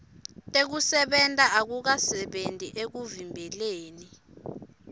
tekusebenta akukasebenti ekuvimbeleni